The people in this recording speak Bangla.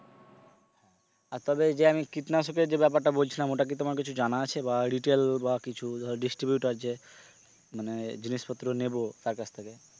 আর তবে যে আমি কীটনাশকের যে ব্যাপারটা বলছিলাম ওটা কি তোমার কিছু জানা আছে বা retail বা কিছু ধর distributor যে মানে জিনিসপত্র নেব তার কাছ থেকে,